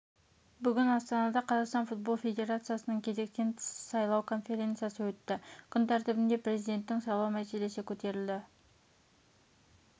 бүгін астанада қазақстан футбол федерациясының кезектен тыс сайлау конференциясы өтті күн тәртібінде президентін сайлау мәселесі көтерілді